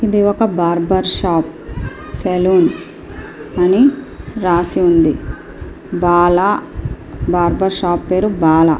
ఇది ఒక barber shop . Salon అని రాసి ఉంది బాల బార్బర్ షాప్ పేరు బాల.